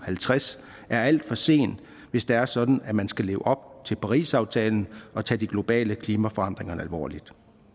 halvtreds er alt for sent hvis det er sådan at man skal leve op til parisaftalen og tage de globale klimaforandringer alvorligt